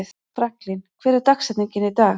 Franklin, hver er dagsetningin í dag?